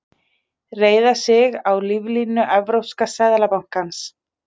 Reiða sig á líflínu Evrópska seðlabankans